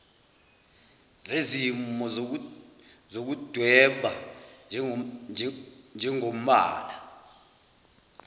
zezimo zokudweba njengombala